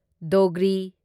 Dogri